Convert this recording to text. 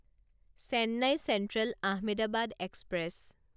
Chennai central Ahmedabad express